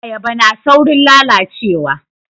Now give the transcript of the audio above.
Ayaba na saurin lalacewa